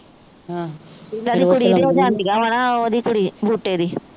ਇਹਨਾ ਦੀ ਕੁੜੀ ਵੀ ਤਾ ਜਾਂਦੀਆਂ ਵਾ ਨਾ ਉਹਦੀ ਕੁੜੀ ਬੂਟੇ ਦੀ